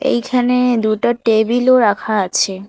এখানে দুটা টেবিলও রাখা আছে।